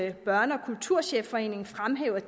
at børne og kulturchefforeningen fremhæver at